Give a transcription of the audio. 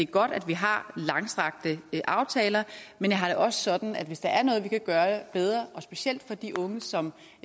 godt at vi har langstrakte aftaler men jeg har det også sådan at hvis der er noget vi kan gøre bedre og specielt for de unge som